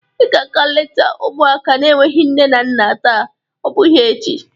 Ị ga-aga leta ụmụaka n'enweghi nne na nna taa, ọ bụgịi echi!